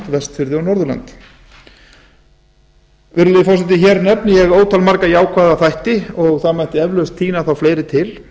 vestfirði og norðurland virðulegi forseti hér nefni ég ótal marga jákvæða þætti og það mætti eflaust tína þá fleiri til